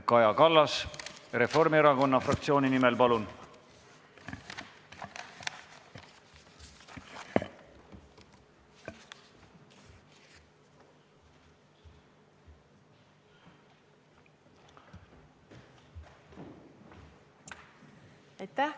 Kaja Kallas Reformierakonna fraktsiooni nimel, palun!